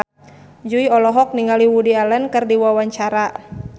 Jui olohok ningali Woody Allen keur diwawancara